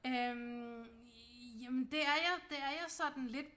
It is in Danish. Øh jamen det er jeg det er jeg sådan lidt